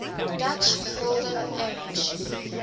dutch golden age